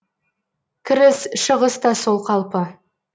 кіріс шығыс та сол қалпы